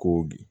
Ko bi